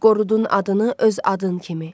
Qorudun adını öz adın kimi.